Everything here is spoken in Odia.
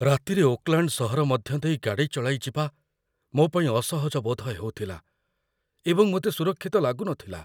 ରାତିରେ ଓକଲାଣ୍ଡ ସହର ମଧ୍ୟ ଦେଇ ଗାଡ଼ି ଚଳାଇ ଯିବା ମୋ ପାଇଁ ଅସହଜ ବୋଧ ହେଉଥିଲା ଏବଂ ମୋତେ ସୁରକ୍ଷିତ ଲାଗୁନଥିଲା